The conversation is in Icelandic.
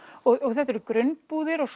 þetta eru grunnbúðir og